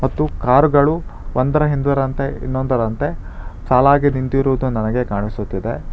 ಮತ್ತು ಕಾರ್ ಗಳು ಒಂದರಹಿಂದರಂತೆ ಇನ್ನೊಂದರಂತೆ ಸಾಲಾಗಿ ನಿಂತಿರುವುದು ನನಗೆ ಕಾಣಿಸುತಿದೆ.